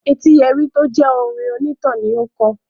"Etíyẹrí" tí ó jẹ́ orin onítàn ni ó kọ̀.